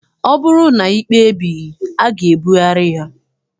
Ọ bụrụ na ikpe ebighị, a ga-ebugharị ya.